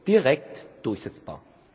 direkt durchsetzbar.